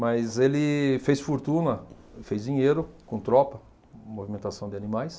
Mas ele fez fortuna, fez dinheiro com tropa, movimentação de animais.